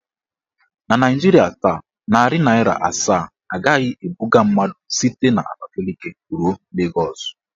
Na Naijiria taa, narị naịra asaa agaghị ebuga mmadụ site n'Abakaliki ruo Legọs.